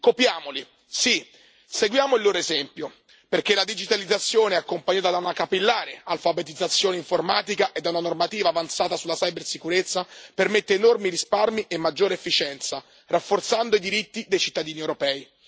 Copiamoli, sì, seguiamo il loro esempio, perché la digitalizzazione, accompagnata da una capillare alfabetizzazione informatica e da una normativa avanzata sulla cibersicurezza, permette enormi risparmi e maggiore efficienza, rafforzando i diritti dei cittadini europei.